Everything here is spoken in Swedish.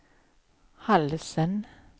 halsen